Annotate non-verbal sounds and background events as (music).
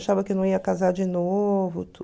Achava que não ia casar de novo (unintelligible)